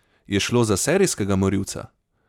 Je šlo za serijskega morilca?